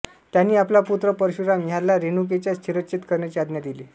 त्यांनी आपला पुत्र परशुराम ह्याला रेणुकेचा शिरच्छेद करण्याची आज्ञा दिली